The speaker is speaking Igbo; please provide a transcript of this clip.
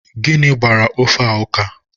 Gịnị gbara ofe a ụka?